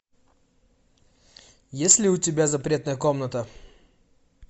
есть ли у тебя запретная комната